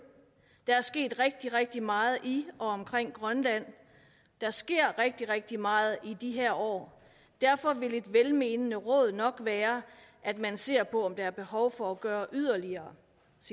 der er sket rigtig rigtig meget i og omkring grønland der sker rigtig rigtig meget i de her år derfor vil et velmenende råd nok være at man ser på om der er behov for at gøre yderligere